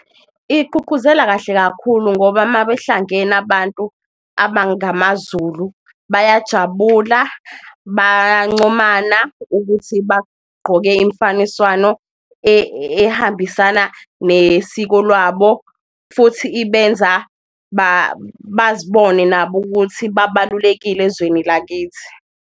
Igqugquzela kahle kakhulu ngoba mabehlangene abantu abangamaZulu bayajabula, bayancomana ukuthi bagqoke imfaniswano ehambisana nesiko lwabo, futhi ibenza bazibone nabo ukuthi babalulekile ezweni lakithi.